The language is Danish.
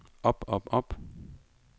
op op op